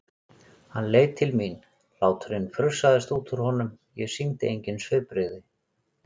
Hann leit til mín, hláturinn frussaðist út úr honum, ég sýndi engin svipbrigði.